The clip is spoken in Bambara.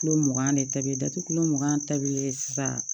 Kulo mugan de ta bi datugu kulo mugan ta bilen sisan